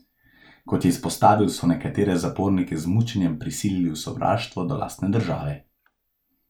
Kot je izpostavil, so nekatere zapornike z mučenjem prisilili v sovraštvo do lastne države.